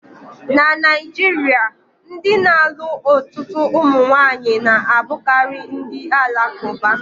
Na Naijiria, ndị na-alụ ọtụtụ ụmụnwaanyi na-abụkarị ndị Alakuba